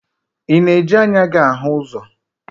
Ị na-eji anya gị ahụ ụzọ?